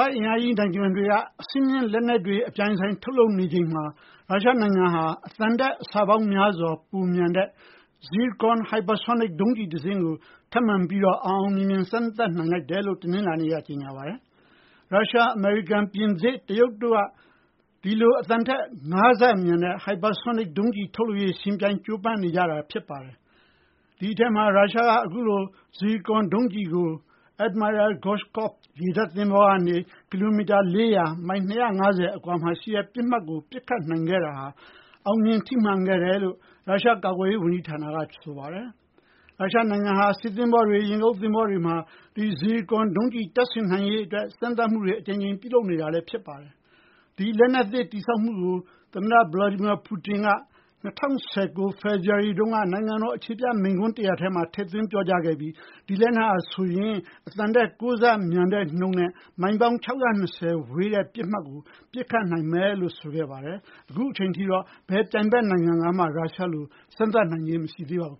ာ့အင်အားကြီး နိုင်ငံတွေ အဆင်မြင့် လက်နက်တွေ အပြိုင် ထုတ်လုပ်နေချိန်မှာ ရုရှားနိုင်ငံက အသံထက် အဆပေါင်းများစွာ ပိုမြန်တဲ့ Zircon hypersonic ဒုံးကျည် တစင်းကို အောင်အောင်မြင်မြင် စမ်းသပ်နိုင်လိုက်တယ်လို့ တနလာၤနေ့မှာ ပြောပါတယ်။ ရုရှား၊ အမေရိကန်၊ ပြင်သစ်နဲ့ တရုတ်တို့က ဒီလို အသံထက် ၅ ဆ မြန်တဲ့ hypersonic ယာဉ်တွေ ထုတ်လုပ်ရေး ယှဉ်ပြိုင် ကြိုးပမ်းနေကြတာ ဖြစ်ပါတယ်။ ဒီထဲမှာ ရုရှားက အခုလို Zircon ဒုံးကျည်ကို Admiral Groshkov ရေတပ် သဘောၤကနေ ကီလိုမီတာ ၄၀၀ (မိုင် ၂၅၀) အကွာက ပစ်မှတ်ကို ပစ်ခတ်ခဲ့တာ အောင်မြင် ထိမှန်ခဲ့တယ်လို့ ရုရှား ကာကွယ်ရေး ဝန်ကြီး ဌာနက ဆိုပါတယ်။ ရုရှားနိုင်ငံဟာ စစ်သဘောၤတွေ၊ ရေငုပ်သဘောၤတွေမှာ Zircon ဒုံးကျည် တပ်ဆင်နိုင်ရေး အတွက် စမ်းသပ်မှုတွေ အကြိမ်ကြိမ် ပြုလုပ်နေခဲ့တာပါ။ ဒီလက်နက်သစ် တည်ဆောက်မှုကို သမ္မတ Putin က ၂၀၁၉ ခုနှစ် ဖေဖော်ဝါရီလ တုန်းက နိုင်ငံတော် အခြေပြ မိန့်ခွန်း တရပ်မှာ ထည့်သွင်း ပြောကြားခဲ့ပြီး ဒီလက်နက်ဟာ အသံထက် ၉ ဆ မြန်တဲ့နှုန်းနဲ့ မိုင် ၆၂၀ ဝေးတဲ့ ပစ်မှတ်ကို ပစ်ခတ်နိုင်မယ်လို့ ဆိုခဲ့ပါတယ်။ အခုအချိန်ထိတော့ ဘယ် ပြိုင်ဘက် နိုင်ငံကမှ ရုရှားလို စမ်းသပ်နိုင်ကြခြင်း မရှိသေးပါဘူး